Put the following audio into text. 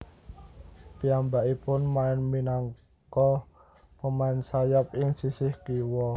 Piyambakipun main minangka pemain sayap ing sisih kiwa